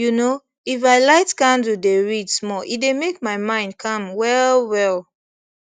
you know if i light candle dey read small e dey make my mind calm well well